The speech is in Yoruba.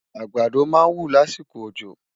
àgbàdá má ń wú lásìkò ọjọ